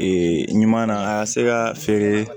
ɲuman na a ka se ka feere